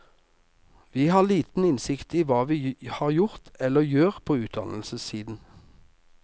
Vi har liten innsikt i hva vi har gjort eller gjør på utdannelsessiden.